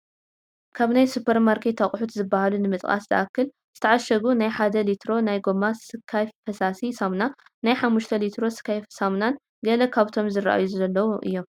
ካብ ናይ ሱፐርማርኬት ኣቕሑት ዝባሃሉ ንምጥቃስ ዝኣክል ዝተኣሸጉ ናይ 1 ሊትሮ ናይ ጎማ ስካይ ፈሳሲ ሳሙና፣ ናይ 5ተ ሊትሮ ስካይ ሳሙናን ገለ ካብቶም ዝራኣዩ ዘለው እዮም፡፡